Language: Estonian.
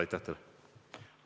Aitäh teile!